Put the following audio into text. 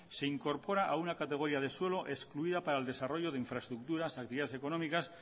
se incorpora a una categoría de suelo excluida para el desarrollo de infraestructuras actividades económicas